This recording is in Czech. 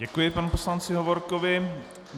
Děkuji panu poslanci Hovorkovi.